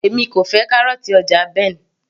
èmi kò fẹ́ kárọ̀ọ̀tì ọjà Ben